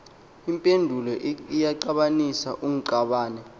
impendulo eyaxabanisa ungxabane